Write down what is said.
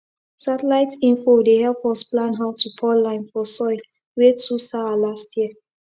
satellite info dey help us plan how to pour lime for soil wey too sour last year